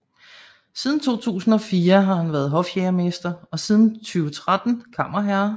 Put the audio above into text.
Siden 2004 har han været hofjægermester og siden 2013 kammerherre